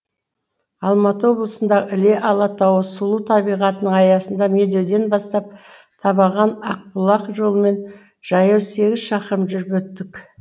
алматы облысындағы іле алатауы сұлу табиғатының аясында медеуден бастап табаған ақбұлақ жолымен жаяу сегіз шақырым жүріп өттік